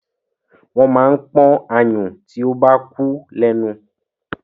Wọ́n máa ń pọ́n ayùn tí o bá kú lẹ́nu.